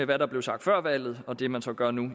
hvad der blev sagt før valget og det man så gør nu